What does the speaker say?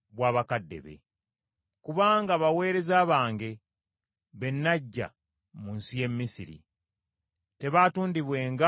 Kubanga baweereza bange be naggya mu nsi y’e Misiri; tebaatundibwenga ng’abaddu.